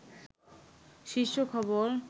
শীর্ষ খবর